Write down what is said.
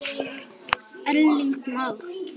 Erling Már.